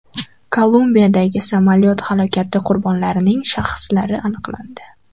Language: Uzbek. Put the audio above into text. Kolumbiyadagi samolyot halokati qurbonlarining shaxslari aniqlandi.